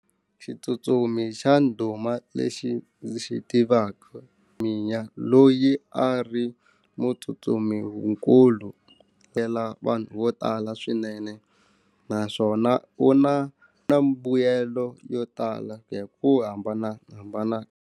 Xitsutsumi xa ndhuma lexi ndzi xi tivaka loyi a ri munhu tsutsumi wukulu ya la vanhu vo tala swinene naswona u na na mbuyelo yo tala hi ku hambanahambana.